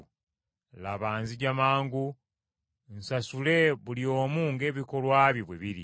“Laba, nzija mangu nsasule buli omu ng’ebikolwa bye bwe biri.